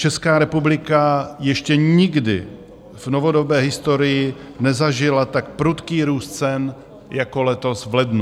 Česká republika ještě nikdy v novodobé historii nezažila tak prudký růst cen jako letos v lednu.